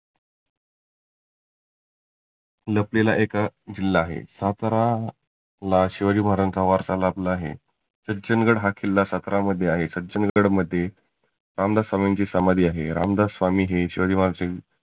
लपलेला हा एक जिल्हा आहे. सातारा ला शिवाजी महाराज्यांचा वारसा लाभलेला आहे. सज्जनगड हा किल्ला सातारा मध्ये आहे. सज्जनगड मध्ये रामदास स्वामींची समाधी आहे. रामदास स्वामी हे शिवाजी महाराज्यांचे